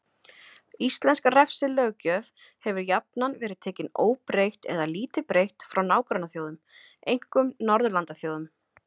Íslensk refsilöggjöf hefur jafnan verið tekin óbreytt eða lítið breytt frá nágrannaþjóðum, einkum Norðurlandaþjóðum.